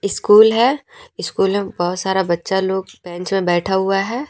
School है school में बहोत सारा बच्चा लोग बेंच मे बैठा हुआ है।